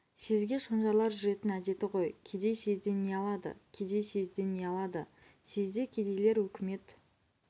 съезге шонжарлар жүретін әдеті ғой кедей съезден не алады кедей съезден не алады съезде кедейлер өкімет